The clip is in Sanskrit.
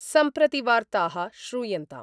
सम्प्रति वार्ता: श्रूयन्ताम्